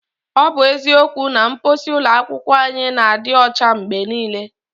Ọ bụ eziokwu na mposi ụlọ akwụkwọ anyị na-adị ụcha mgbe niile.